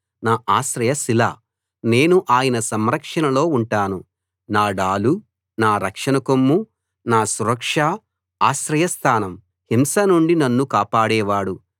నా ఆశ్రయ శిల నేను ఆయన సంరక్షణలో ఉంటాను నా డాలు నా రక్షణ కొమ్ము నా సురక్ష ఆశ్రయస్థానం హింస నుండి నన్ను కాపాడేవాడు